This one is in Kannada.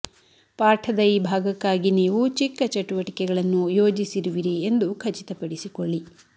ಪಾಠದ ಈ ಭಾಗಕ್ಕಾಗಿ ನೀವು ಚಿಕ್ಕ ಚಟುವಟಿಕೆಗಳನ್ನು ಯೋಜಿಸಿರುವಿರಿ ಎಂದು ಖಚಿತಪಡಿಸಿಕೊಳ್ಳಿ